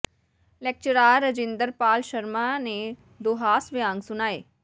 lecturer Rajinder Pal Sharma ਨੇ ਦੋ ਹਾਸ ਵਿਅੰਗ ਸੁਣਾਏ